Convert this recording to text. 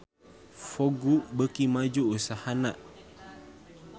Vogue beuki maju usahana